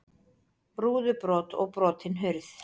Rúðubrot og brotin hurð